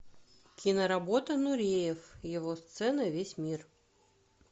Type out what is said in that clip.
киноработа нуриев его сцена весь мир